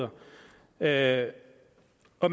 vi er i at